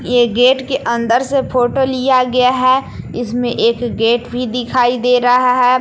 ये गेट के अंदर से फोटो लिया गया है। इसमें एक गेट भी दिखाई दे रहा है।